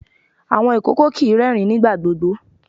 Awọn ìkòkò kìí rẹ́ẹ̀rín nígbà gbogbo.